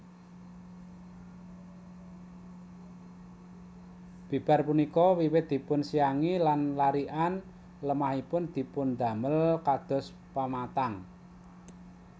Bibar punika wiwit dipunsiangi lan larikan lemahipun dipundamel kados pematang